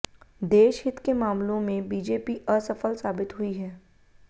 देशहित के मामलों में बीजेपी असफल साबित हुई है